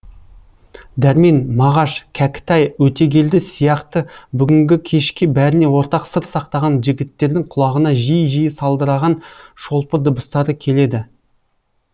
дәрмен мағаш кәкітай өтегелді сияқты бүгінгі кеште бәріне ортақ сыр сақтаған жігіттердің құлағына жиі жиі сылдыраған шолпы дыбыстары келеді